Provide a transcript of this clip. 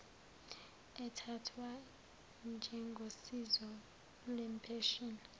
ethathwa njengosizo lwempesheni